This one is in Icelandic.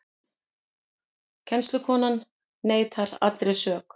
Kennslukonan neitar allri sök